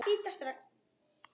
Karlinn vísast er þar enn.